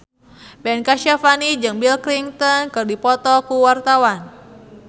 Ben Kasyafani jeung Bill Clinton keur dipoto ku wartawan